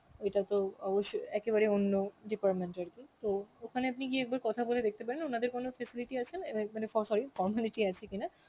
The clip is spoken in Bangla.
এটা তো অবশ্যই একেবারেই অন্য department এর তো ওখানে আপনি গিয়ে একবার কথা বলে দেখতে পারেন উনাদের কোন facility আছে এবার এখানে ফ~ sorry formality আছে কিনা